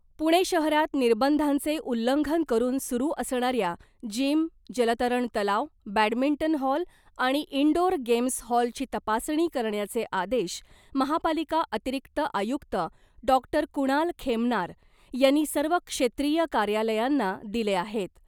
पुणे शहरात निर्बंधांचे उल्लंघन करून सुरू असणाऱ्या जीम , जलतरण तलाव , बॅडमिंटन हॉल आणि इनडोअर गेम्स हॉलची तपासणी करण्याचे आदेश महापालिका अतिरिक्त आयुक्त डॉक्टर कुणाल खेमनार यांनी सर्व क्षेत्रीय कार्यालयांना दिले आहेत .